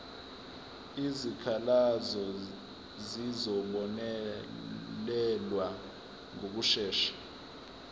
izikhalazo zizobonelelwa ngokushesha